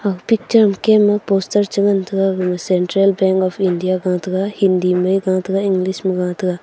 picture ma kem a poster chi ngan tega gama central bank of India ga tega hindi ma a ga tega English ma a ga tega.